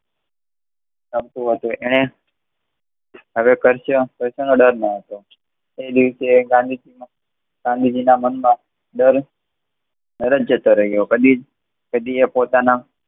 એને હવે કસાય નો દર ન હતો તે દિવસે ગાંધીજી ગાંધીજી ના મન માંથી દર જ જતો રહ્યો કદી એ કદી એ પોતાના